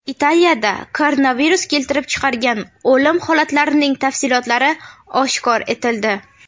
Italiyada koronavirus keltirib chiqargan o‘lim holatlarining tafsilotlari oshkor etildi.